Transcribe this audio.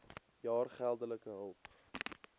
jaar geldelike hulp